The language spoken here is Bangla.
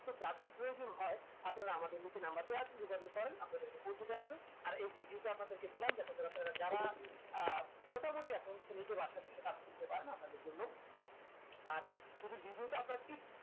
তো যাদের প্রয়োজন হয় আপনারা আমাদের নিচে number দেওয়া আছে যোগাযোগ করেন আপনাদেরকে পৌঁছে দেওয়া হবে আর এই video টি আপনাদেরকে দিলাম যাতেকরে আপনারা যারা আহ মোটামুটি নিজের আশেপাশে কাজ খুঁজতে পারেন আপনাদের জন্য আর যদি video টা আপনার এক